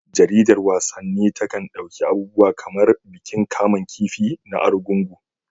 Jaridar wasanni takan ɗauki abubuwa kamar bikin kamun kifi na Argungu.